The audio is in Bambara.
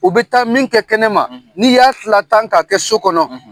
U bɛ taa min kɛ kɛnɛ ma, n'i y'a lila tan k'a kɛ so kɔnɔ.